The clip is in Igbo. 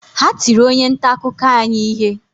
Ha tiri onye nta akụkọ anyị ihe